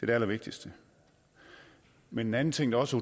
det allervigtigste men en anden ting der også